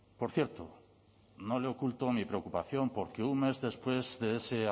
por cierto no le oculto mi preocupación por que un mes después de ese